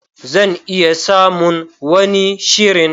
Zan iya samun wani shirin.